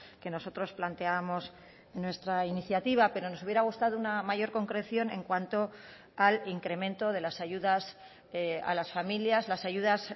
que nosotros planteábamos nuestra iniciativa pero nos hubiera gustado una mayor concreción en cuanto al incremento de las ayudas a las familias las ayudas